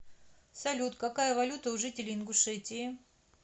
салют какая валюта у жителей ингушетии